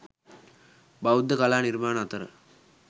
බෞද්ධ කලා නිර්මාණ අතර